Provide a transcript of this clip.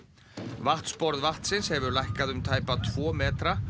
vatnsborð vatnsins hefur lækkað um tæpa tvo metra